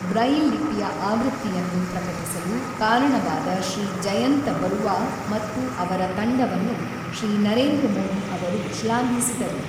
Braille ಲಿಪಿಯ ಆವೃತ್ತಿಯನ್ನು ಪ್ರಕಟಿಸಲು ಕಾರಣವಾದ ಶ್ರೀ ಜಯಂತ ಬರುವಾ ಮತ್ತು ಅವರ ತಂಡವನ್ನು ಶ್ರೀ ನರೇಂದ್ರ ಮೋದಿ ಅವರು ಶ್ಲಾಘಿಸಿದರು.